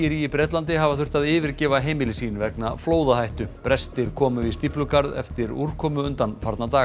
í Bretlandi hafa þurft að yfirgefa heimili sín vegna flóðahættu brestir komu í stíflugarð eftir mikla úrkomu undanfarna daga